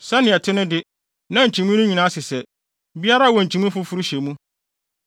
Sɛnea ɛte no de, na nkyimii no nyinaa sesɛ; biara wɔ nkyimii foforo hyɛ mu.